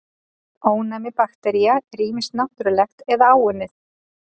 Ónæmi baktería er ýmist náttúrlegt eða áunnið.